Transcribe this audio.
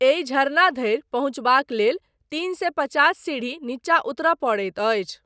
एहि झरना धरि पहुँचबाक लेल तीन सए पचास सीढ़ी नीचा उतरय पड़ैत अछि।